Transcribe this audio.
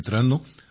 मित्रांनो